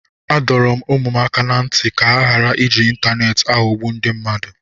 Adọrọ m ụmụ m aka ná ntị ka ha ghara iji ịntaneetị aghọgbu ndị mmadụ